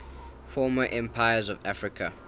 former empires of africa